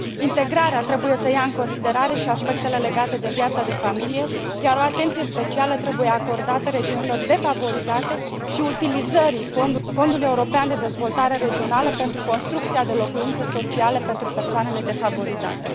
Integrarea trebuie să ia în considerare și aspectele legate de viața de familie, iar o atenție specială trebuie acordată regiunilor defavorizate și utilizării Fondului European de Dezvoltare Regională pentru construcția de locuințe sociale pentru persoanele defavorizate.